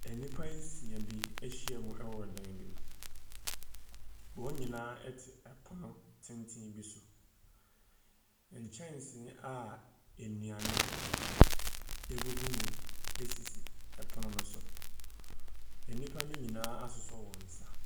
Nnipa nsia bi ahyiam wɔ dan bi mu. Wɔn nyinaa te pono tenten bi so. Nkyɛnse a nnuane gugu mu sisi pono no so. Nnipa no nyinaa asosɔ wɔn nsa.